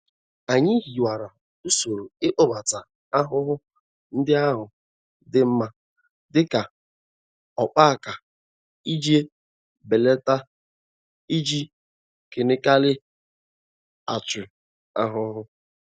Anyị hiwara usoro ịkpọbata ahụhụ ndị ahụ dị mma dịka ọkpaaka iji belata iji kenikal achụ ahụhụ.